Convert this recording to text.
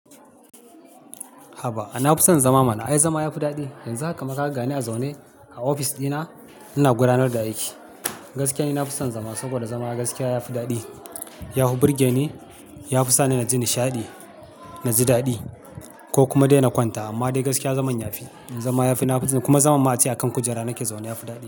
Haba, na fi son zama mana. Ai zama yafi daɗi. Yanzu haka ma kaga ne a zaune a ofis ɗina, ina gudanar da aiki. Gaskiya ni na fi son zama saboda zama gaskiya yafi daɗi. Ya fi birge ni, ya fi sa ni naji nishaɗi, naji daɗi ko kuma dai na kwanta. Amma dai gaskiya zaman yafi, zama yafi. Na fi kuma zaman mata a kan kujera nake zaune yafi daɗi.